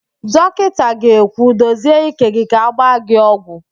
Dọkịnta ga-ekwu, dozie ike gị ka agba gị ọgwụ!